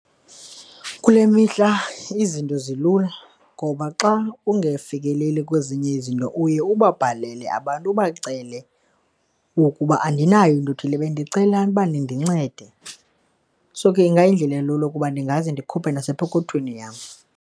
Kule mihla izinto zilula ngoba xa ungafikeleli kwezinye izinto uye ubabhalele abantu, ubacele ukuba andinayo into othile bendicela ukuba nindincede. So, ke ingayindlela elula ukuba ndingaze ndikhuphe nasepokothweni yam.